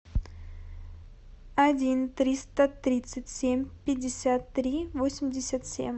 один триста тридцать семь пятьдесят три восемьдесят семь